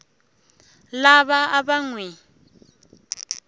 lava a va n wi